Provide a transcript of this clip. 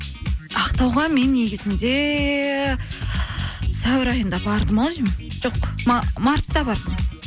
ақтауға мен негізінде сәуір айында бардым ау деймін жоқ мартта бардым